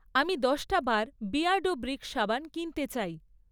আমি দশ বার বিয়ার্ডো ব্রিক সাবান কিনতে চাই।